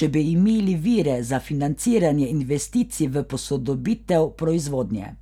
če bi imeli vire za financiranje investicij v posodobitev proizvodnje.